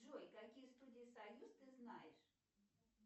джой какие студии союз ты знаешь